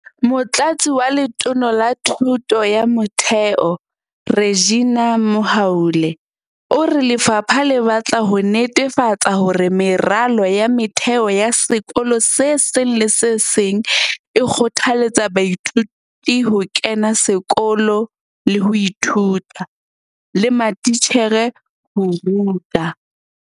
Motlatsi wa Letona la Thuto ya Motheo, Reginah Mhaule, o re lefapha le batla ho netefatsa hore meralo ya motheo ya sekolo se seng le se seng e kgothaletsa baithuti ho kena sekolo le ho ithuta, le matitjhere ho ruta.